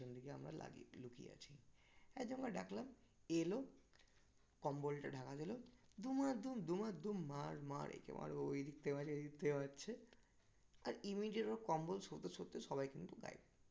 পিছন দিকে আমরা লাগিয়ে লুকিয়ে আছি একজনকে ডাকলাম. এলো. কম্বলটা ঢাকা দিলো দুমাদুম দুমাদুম মার মার একে মার ও ওই দিক থেকে মারছে এ এদিক থেকে মারছে আর immediate ওর কম্বল শরতে শরতে সবাই কিন্তু গায়েব